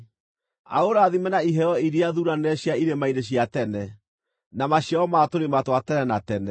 aũrathime na iheo iria thuuranĩre cia irĩma-inĩ cia tene, na maciaro ma tũrĩma twa tene na tene;